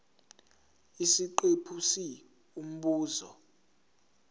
isiqephu c umbuzo